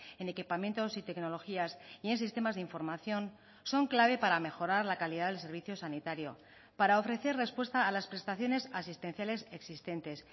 en equipamientos y tecnologías y en sistemas de información son clave para mejorar la calidad del servicio sanitario para ofrecer respuesta a las prestaciones asistenciales existentes